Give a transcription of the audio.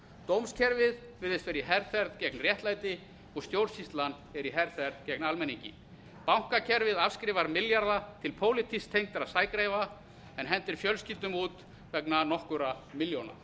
dómskerfið virðist vera í herferð gegn réttlæti og stjórnsýslan er í herferð gegn almenningi bankakerfið afskrifar milljarða til pólitískt tengdra sægreifa en hendir fjölskyldum út vegna nokkurra milljóna